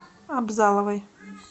абзаловой